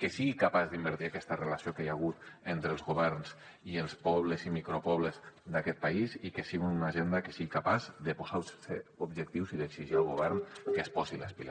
que sigui capaç d’invertir aquesta relació que hi ha hagut entre els governs i els pobles i micropobles d’aquest país i que sigui una agenda que sigui capaç de posar se objectius i d’exigir al govern que es posi les piles